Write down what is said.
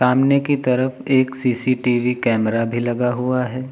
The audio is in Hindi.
सामने की तरफ एक सी_सी_टी_वी कैमरा भी लगा हुआ है।